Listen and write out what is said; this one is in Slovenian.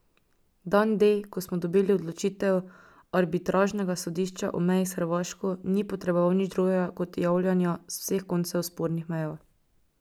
Dan D, ko smo dobili odločitev arbitražnega sodišča o meji s Hrvaško, ni potreboval nič drugega kot javljanja z vseh koncev spornih meja.